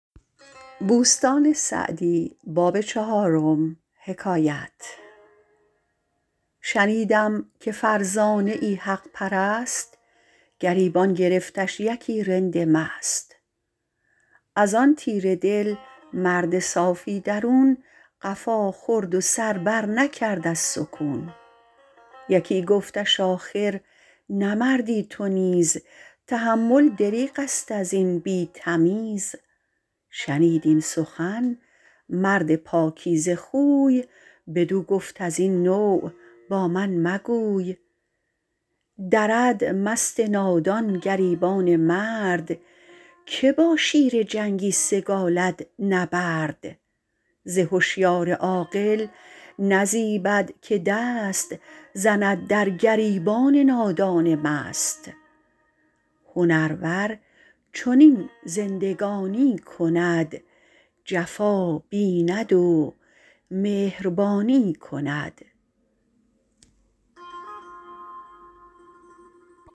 شنیدم که فرزانه ای حق پرست گریبان گرفتش یکی رند مست از آن تیره دل مرد صافی درون قفا خورد و سر بر نکرد از سکون یکی گفتش آخر نه مردی تو نیز تحمل دریغ است از این بی تمیز شنید این سخن مرد پاکیزه خوی بدو گفت از این نوع با من مگوی درد مست نادان گریبان مرد که با شیر جنگی سگالد نبرد ز هشیار عاقل نزیبد که دست زند در گریبان نادان مست هنرور چنین زندگانی کند جفا بیند و مهربانی کند